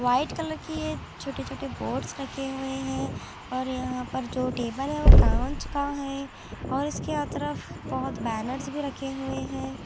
White colour की है छोटे छोटे बोर्ड्स रखे हुए हैं और यहां पर जो टेबल है वो कांच का है और इसके है तरफ बहुत बैनर्स भी रखे हुए हैं।